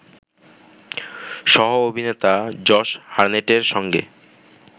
সহ-অভিনেতা Josh হারনেটের সঙ্গে